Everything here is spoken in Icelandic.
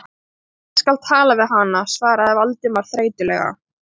Ég skal tala við hana- svaraði Valdimar þreytulega.